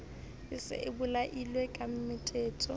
e se e bolailwe kematetetso